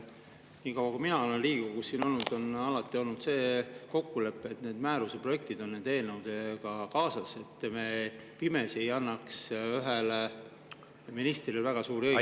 Niikaua kui mina olen Riigikogus olnud, on alati olnud see kokkulepe, et need määruse projektid on eelnõudega kaasas, et me pimesi ei annaks ühele ministrile väga suuri õigusi.